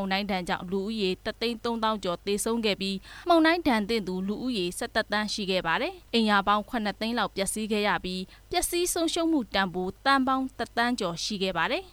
ုန်တိုင်းကြောင့် လူဦးရေ တစ်သိန်း သုံးသောင်းကျော် သေဆုံးပြီး မုန်တိုင်းဒဏ်သင့်သူ လူဦးရေ ၁၁ သန်းရှိခဲ့ပါတယ်။ အိမ်ယာပေါင်း ၇ သိန်းလောက် ပျက်စီးခဲ့ရပြီး ဆုံးရှုံးမှုတန်ဖိုး သန်းပေါင်း တစ်သန်းကျော်ရှိခဲ့ပါတယ်